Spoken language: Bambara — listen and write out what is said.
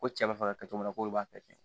Ko cɛ b'a fɛ ka kɛ cogo min na k'olu b'a bɛɛ kɛ